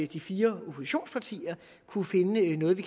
de fire oppositionspartier kunne finde noget vi